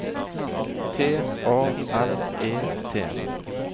T A L E T